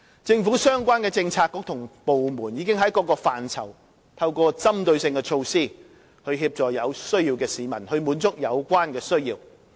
政府相關政策局與部門已經在各個範疇透過針對性的措施協助有需要的市民，滿足有關的需要。